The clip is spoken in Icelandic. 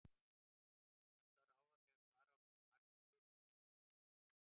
Úr vöndu er að ráða þegar svara á hversu margir fluttust heim til Íslands aftur.